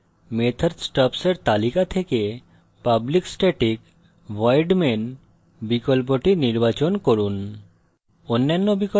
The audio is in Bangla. এবং method stubs এর তালিকা থেকে public static void main বিকল্পটি নির্বাচন করুন